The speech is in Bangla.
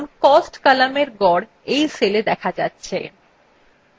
দেখুন cost কলামের গড় you cellএ দেখা যাচ্ছে